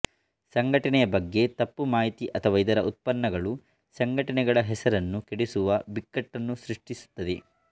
ಸಂಘಟನೆಯ ಬಗ್ಗೆ ತಪ್ಪು ಮಾಹಿತಿ ಅಥವಾ ಇದರ ಉತ್ಪನ್ನಗಳು ಸಂಘಟನೆಗಳ ಹೆಸರನ್ನು ಕೆಡಿಸುವ ಬಿಕ್ಕಟ್ಟನ್ನು ಸೃಷ್ಟಿಸುತ್ತದೆ